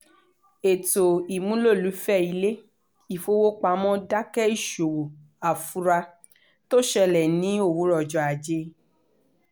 ètò ìmúlòlùfẹ́ ilé-ifowopamọ́ dákẹ́ ìṣòwò àfura tó ṣẹlẹ̀ ní òwúrọ̀ ọjọ́ ajé